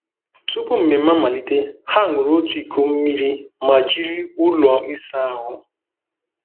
Tupu mmemme amalite, ha ṅụrụ otu iko mmiri ma jiri ụlọ ịsa ahụ.